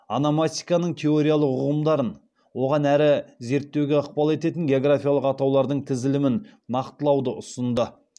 ономастиканың теориялық ұғымдарын одан әрі зерттеуге ықпал ететін географиялық атаулардың тізілімін нақтылауды ұсынды